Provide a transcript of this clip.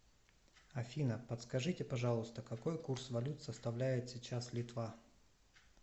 афина подскажите пожалуйста какой курс валют составляет сейчас литва